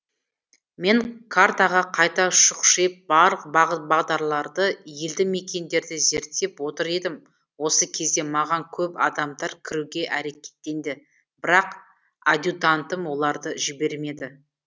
мен картаға қайта шұқшиып барлық бағыт бағдарларды елді мекендерді зерттеп отыр едім осы кезде маған көп адамдар кіруге әрекеттенді бірақ адьютантым оларды жібермеді